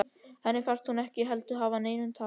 Henni fannst hún ekki heldur hafa neinu að tapa.